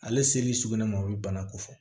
Ale seli sugunɛ ma o bɛ bana ko fɔ